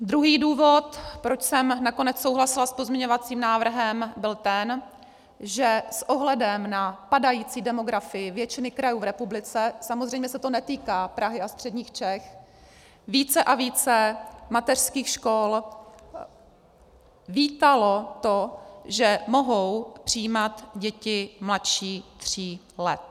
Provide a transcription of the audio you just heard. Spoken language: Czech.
Druhý důvod, proč jsem nakonec souhlasila s pozměňovacím návrhem, byl ten, že s ohledem na padající demografii většiny krajů v republice, samozřejmě se to netýká Prahy a středních Čech, více a více mateřských škol vítalo to, že mohou přijímat děti mladší tří let.